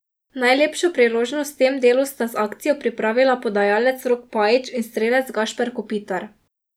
Najlepšo priložnost v tem delu sta z akcijo pripravila podajalec Rok Pajič in strelec Gašper Kopitar.